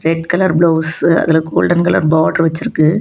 Red colour blouse அதுல golden colour border வச்சிருக்கு.